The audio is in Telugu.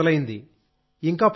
ఇప్పుడే మొదలైంది